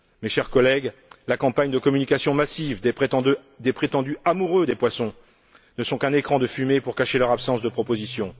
Chers collègues, la campagne de communication massive des prétendus amoureux des poissons ne sont qu'un écran de fumée pour cacher leur absence de proposition.